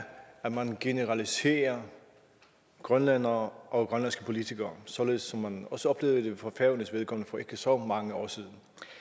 at man generaliserer grønlændere og grønlandske politikere således som man også oplevede det for færøernes vedkommende for ikke så mange år siden